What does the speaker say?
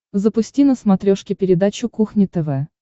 запусти на смотрешке передачу кухня тв